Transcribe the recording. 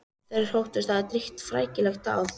Þeir þóttust hafa drýgt frækilega dáð.